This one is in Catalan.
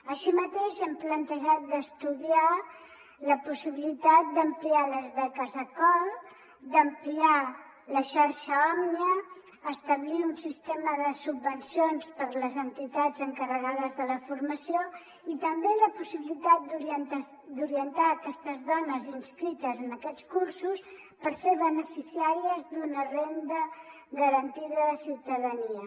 així mateix hem plantejat d’estudiar la possibilitat d’ampliar les beques acol d’ampliar la xarxa òmnia establir un sistema de subvencions per a les entitats en·carregades de la formació i també la possibilitat d’orientar aquestes dones inscrites en aquests cursos per ser beneficiàries d’una renda garantida de ciutadania